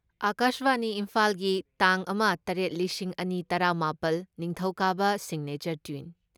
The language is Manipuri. ꯑꯀꯥꯁꯕꯥꯅꯤ ꯏꯝꯐꯥꯜꯒꯤ ꯇꯥꯡ ꯑꯃ ꯇꯔꯦꯠ ꯂꯤꯁꯤꯡ ꯑꯅꯤ ꯇꯔꯥ ꯃꯥꯄꯜ, ꯅꯤꯡꯊꯧꯀꯥꯕ ꯁꯤꯒꯅꯦꯆꯔ ꯇ꯭ꯌꯨꯟ